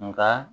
Nka